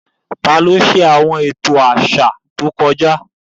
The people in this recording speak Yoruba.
Ta ló ṣètò àwọn ìṣẹ̀lẹ̀ àṣà tẹ́lẹ̀?